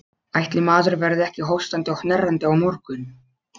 Ætli maður verði ekki hóstandi og hnerrandi á morgun.